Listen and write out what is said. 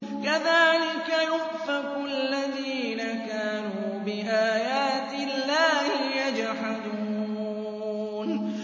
كَذَٰلِكَ يُؤْفَكُ الَّذِينَ كَانُوا بِآيَاتِ اللَّهِ يَجْحَدُونَ